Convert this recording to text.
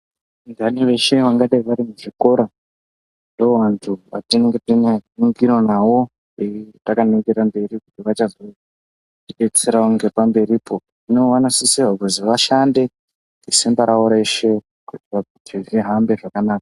Vanthani veshe vangadayi vari muzvikora ndoovanhu vatinotonyanyobatikira nawo takaningra mberi kuti vachazotidetserawo ngepamberipo. Hino vanosisirwa kuti vashande nesimba ravo reshe kuitira kuti zvihambe zvakanaka.